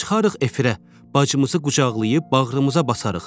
Çıxarıq efirə, bacımızı qucaqlayıb bağrımıza basarıq.